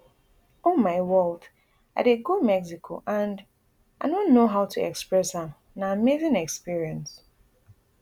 oh my world i dey go mexico and i no know how to express am na amazing experience